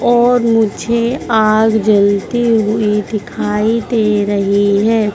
और मुझे आग जलती हुई दिखाई दे रही है।